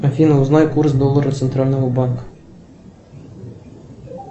афина узнай курс доллара центрального банка